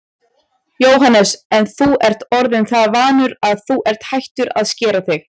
Jóhannes: En þú ert orðinn það vanur að þú ert hættur að skera þig?